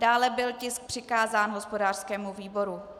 Dále byl tisk přikázán hospodářskému výboru.